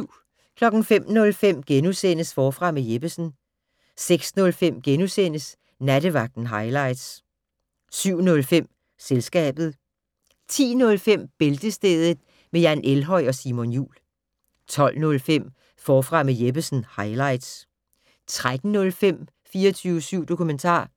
05:05: Forfra med Jeppesen * 06:05: Nattevagten highlights * 07:05: Selskabet 10:05: Bæltestedet med Jan Elhøj og Simon Jul 12:05: Forfra med Jeppesen - highlights 13:05: 24syv dokumentar